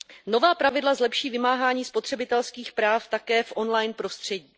Nová pravidla zlepší vymáhání spotřebitelských práv také v online prostředí.